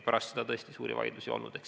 Pärast seda tõesti suuri vaidlusi ei olnud.